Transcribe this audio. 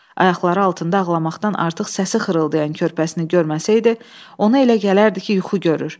Ayaqları altında ağlamaqdan artıq səsi xırıldayan körpəsini görməsəydi, ona elə gələrdi ki, yuxu görür.